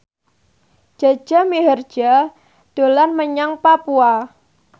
Jaja Mihardja dolan menyang Papua